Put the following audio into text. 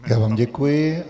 Já vám děkuji.